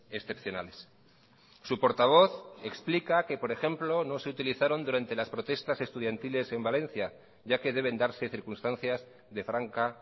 excepcionales su portavoz explica que por ejemplo no se utilizaron durante las protestas estudiantiles en valencia ya que deben darse circunstancias de franca